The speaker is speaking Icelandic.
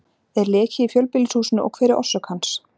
Er leki í fjölbýlishúsinu og hver er orsök hans?